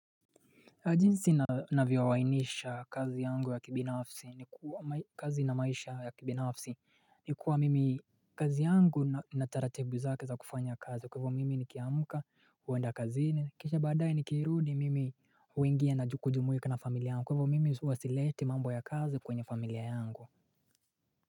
Kwa jinsi navyooainisha kazi yangu ya kibinafsi ni kwa kazi na maisha ya kibinafsi ni kuwa mimi kazi yangu inataratibu zake za kufanya kazi kwahiyo mimi nikiamuka huenda kazini kisha baadaye nikirudi mimi huingia na kujumuika na familia yangu kwahiyo mimi huwa sileti mambo ya kazi kwenye familia yangu.